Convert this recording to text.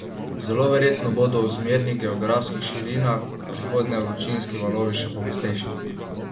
Zelo verjetno bodo v zmernih geografskih širinah v prihodnje vročinski valovi še pogostejši.